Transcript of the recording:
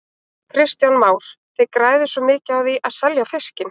Kristján Már: Þið græðið svona mikið á því að selja fiskinn?